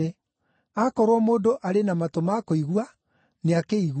Akorwo mũndũ arĩ na matũ ma kũigua, nĩakĩigue.”